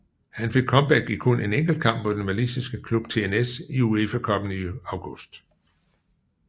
Han fik comeback i kun en enkelt kamp mod den walisiske klub TNS i UEFA Cuppen i august